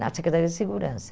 na Secretaria de Segurança.